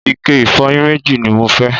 ike ìfọyín méjì ni mo fẹ́